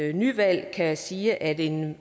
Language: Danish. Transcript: nyvalg kan sige at en